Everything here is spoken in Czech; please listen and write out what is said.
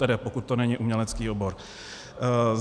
Tedy pokud to není umělecký obor.